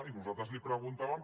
i nosaltres li preguntàvem